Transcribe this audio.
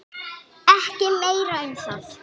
Ekki meira um það.